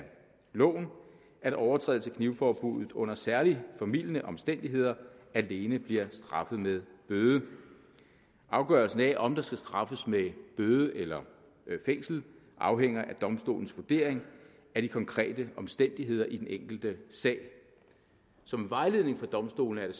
loven at overtrædelse af knivforbuddet under særlig formildende omstændigheder alene bliver straffet med bøde afgørelsen af om der skal straffes med bøde eller fængsel afhænger af domstolens vurdering af de konkrete omstændigheder i den enkelte sag som vejledning for domstolene er